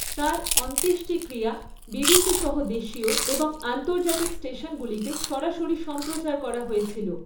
তাঁর অন্ত্যেষ্টিক্রিয়া বিবিসি সহ দেশীয় এবং আন্তর্জাতিক স্টেশনগুলিতে সরাসরি সম্প্রচার করা হয়েছিল।